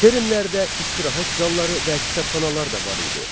Termlərdə istirahət zalları və kitabxanalar da var idi.